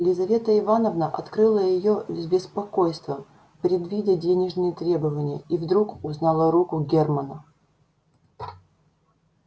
лизавета ивановна открыла её с беспокойством предвидя денежные требования и вдруг узнала руку германна